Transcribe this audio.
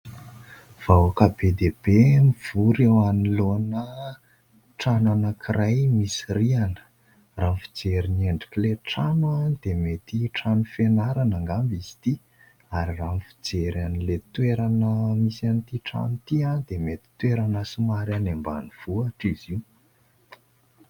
Vahoaka be dia be mivory eo anoloana trano anankiray misy rihana raha ny fijery ny endrik'ilay trano dia mety trano fianarana angamba izy ity, ary raha ny fijery an'ilay toerana misy an'ity trano ity dia mety toerana somary any Ambanivohitra izy io.